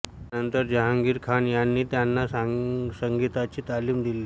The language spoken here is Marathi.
त्यानंतर जहांगीर खान यांनी त्यांना संगीताची तालीम दिली